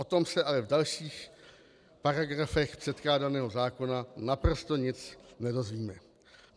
O tom se ale v dalších paragrafech předkládaného zákona naprosto nic nedozvíme.